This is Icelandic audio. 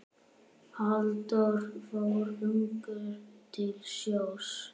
Halldór fór ungur til sjós.